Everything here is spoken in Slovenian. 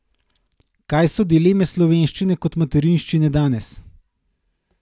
Kaj so dileme slovenščine kot materinščine danes?